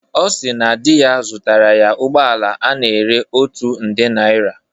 Ọ si na di ya zụtara ya ụgbọala a na-ere otu nde naira